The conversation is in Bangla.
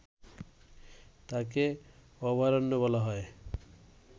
তাকে অভয়ারণ্য বলা হয়